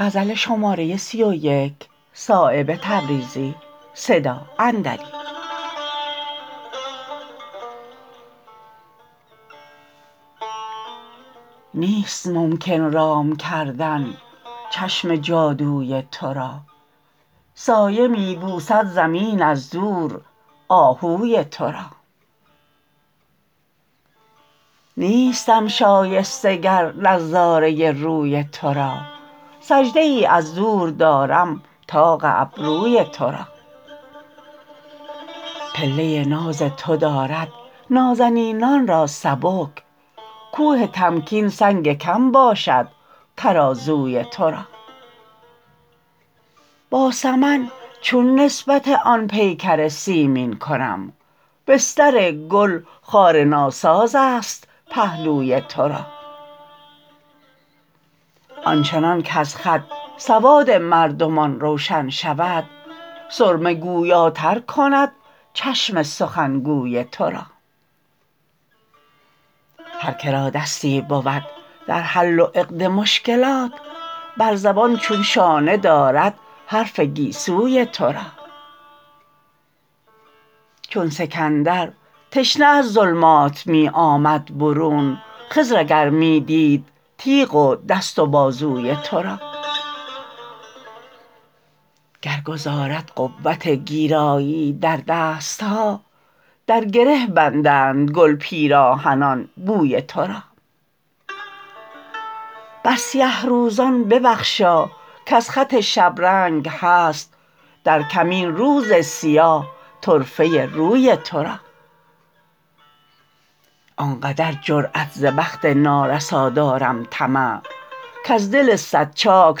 نیست ممکن رام کردن چشم جادوی ترا سایه می بوسد زمین از دور آهوی ترا نیستم شایسته گر نظاره روی ترا سجده ای از دور دارم طاق ابروی ترا پله ناز تو دارد نازنینان را سبک کوه تمکین سنگ کم باشد ترازوی ترا با سمن چون نسبت آن پیکر سیمین کنم بستر گل خار ناسازست پهلوی ترا آنچنان کز خط سواد مردمان روشن شود سرمه گویاتر کند چشم سخنگوی ترا هر که را دستی بود در حل و عقد مشکلات بر زبان چون شانه دارد حرف گیسوی ترا چون سکندر تشنه از ظلمات می آمد برون خضر اگر می دید تیغ و دست و بازوی ترا گر گذارد قوت گیراییی در دست ها در گره بندند گل پیراهنان بوی ترا بر سیه روزان ببخشا کز خط شبرنگ هست در کمین روز سیاه طرفه ای روی ترا آنقدر جرأت ز بخت نارسا دارم طمع کز دل صد چاک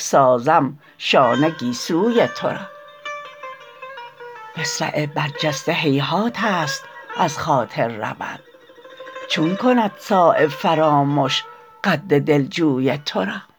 سازم شانه گیسوی ترا مصرع برجسته هیهات است از خاطر رود چون کند صایب فرامش قد دلجوی ترا